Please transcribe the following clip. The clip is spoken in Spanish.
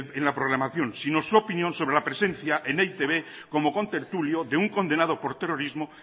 en la programación sino su opinión sobre la presencia en e i te be como contertulio de un condenado por terrorismo